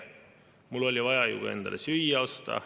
Mul oli vaja ju endale ka süüa osta.